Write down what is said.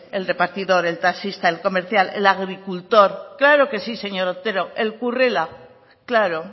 el repartidor el taxista el comercial el agricultor claro que sí señor otero el currela claro